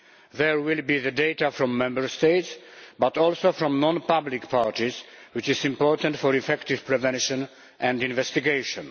There will be the data from Member States, but also from non public parties, which is important for effective prevention and investigation.